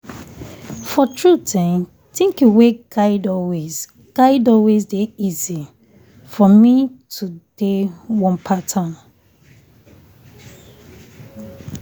for truth[um] thinking way guide always guide always dey easy for me to dey one pattern.